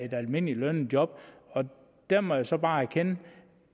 et almindeligt lønnet job og der må jeg så bare erkende